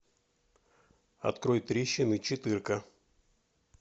открой трещины четырка